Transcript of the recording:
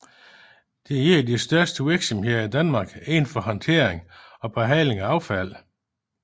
Det er et de største virksomheder i Danmark inden for håndtering og behandling af affald